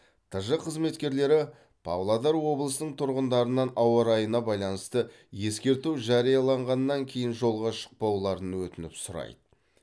тж қызметкерлері павлодар облысының тұрғындарынан ауа райына байланысты ескерту жарияланғаннан кейін жолға шықпауларын өтініп сұрайды